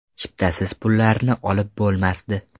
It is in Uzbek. Chiptasiz pullarni olib bo‘lmasdi.